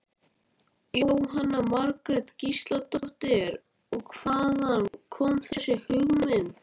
Frönsku gluggarnir sneru út að götunni og horninu með jólaljósunum.